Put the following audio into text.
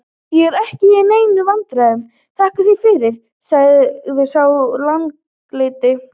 Ég er ekki í neinum vandræðum, þakka þér fyrir, sagði sá langleiti.